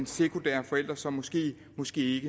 sekundære forældre som måske måske